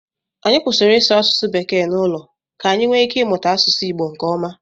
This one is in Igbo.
Anyị kwụsịrị ịsụ asụsụ bekee n'ụlọ ka anyị nwee ike ịmụta asụsụ Igbo nkeọma.